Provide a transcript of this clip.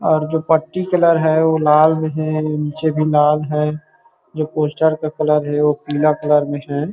और जो पट्टी कलर है वो लाल मे है नीचे भी लाल है जो पोस्टर का कलर है पीला कलर मे है।